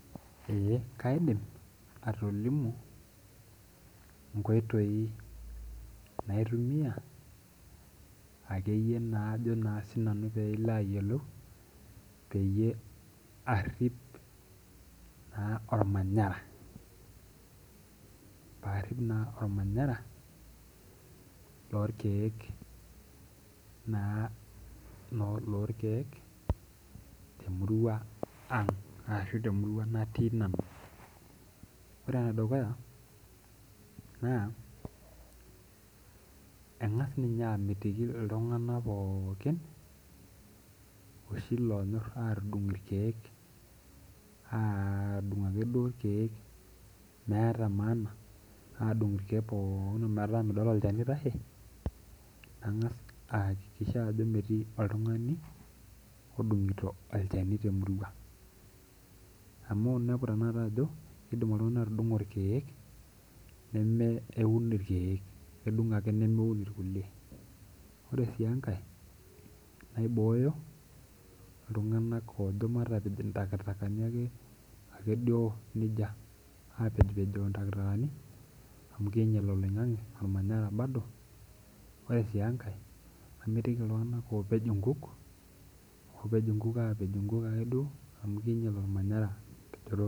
Eeh kaidim atolimu inkoitoi naitumia akeyie naa ajo sinanu peilo ayiolou peyie arrip naa ormanyara paarrip naa ormanyara lorkeek naa noo lorkeek temurua ang ashu temurua natii nanu ore enedukuya naa eng'as ninye amitiki iltung'anak pookin oshi loonyorr atudung irkeek aadung akeduo irkeek meeta maana adung irkeek pookin metaa midol olchani oitashe nang'as aakikisha ajo metii oltung'ani odung'ito alchani temurua amu inepu tenakata ajo kidim oltung'ani atudung'o irkeek nemeeun irkeek kedung ake nemeun irkulie ore sii enkae naibooyo iltung'anak oojo matapej intakitakani ake akeduo nijia apejipejoo intakitakani amu kiinyial olmanyara oloing'ang'e bado ore sii enkae kamitiki iltung'anak oopej inkuk oopej inkuk aapej inkuk akeduo amu kiinyial olmanyara tenchoto.